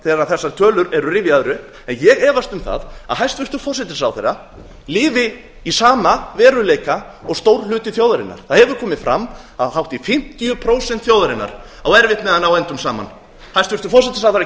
þegar þessar tölur eru rifjaðar upp ég efast um það að hæstvirtur forsætisráðherra lifi í sama veruleika og stór hluti þjóðarinnar það hefur komið fram að hátt í fimmtíu prósent þjóðarinnar á erfitt með að ná endum saman hæstvirtur forsætisráðherra